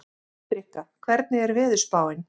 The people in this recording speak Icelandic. Hendrikka, hvernig er veðurspáin?